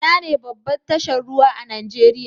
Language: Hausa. Inane babbar tashar ruwa a Nijeriya?